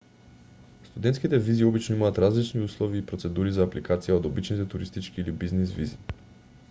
студентските визи обично имаат различни услови и процедури за апликација од обичните туристички или бизнис визи